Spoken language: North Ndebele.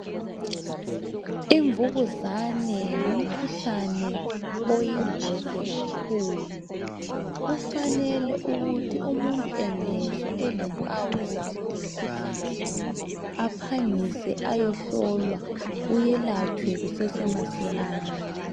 Imvukuzane ngumkhuhlane oyingozi kakhulu kufanele ukuthi umuntu engezwa elempawu zalo mikhuhlane aphangise ayehlolwa uyelatshwe kusese masinyane